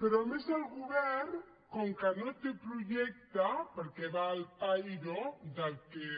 però a més el govern com que no té projecte perquè va al pairo del que